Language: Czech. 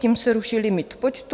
Tím se ruší limit počtu.